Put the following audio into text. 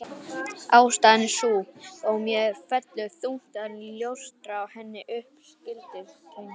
Ástæðan er sú, og mér fellur þungt að ljóstra henni upp: Skyldleikatengsl